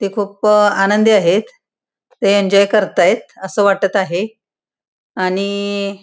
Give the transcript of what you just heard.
ते खुप आनंदी आहेत ते एन्जॉय करतायत अस वाटत आहे आणि --